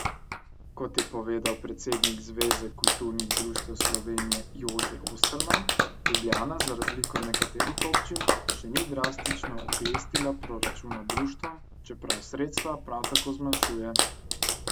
Kot je povedal predsednik Zveze kulturnih društev Slovenije Jože Osterman, Ljubljana za razliko od nekaterih občin še ni drastično oklestila proračuna društvom, čeprav sredstva prav tako zmanjšuje.